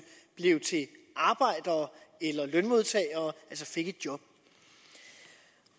blev til arbejdere eller lønmodtagere altså fik et job